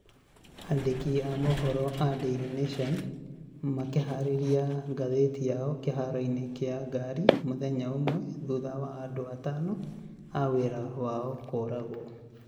Andĩki a mohoro a Daily Nation makĩharĩria ngathĩti yao kĩharo-inĩ kĩa ngari mũthenya ũmwe thutha wa andũ atano a wĩra wao kũragwo